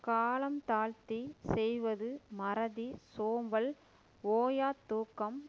காலம் தாழ்த்தி செய்வது மறதி சோம்பல் ஓயாத் தூக்கம்